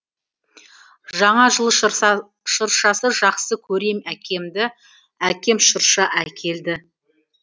жаңа жыл шыршасы жақсы көрем әкемді әкем шырша әкелді